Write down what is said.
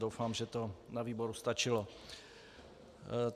Doufám, že to na výboru stačilo.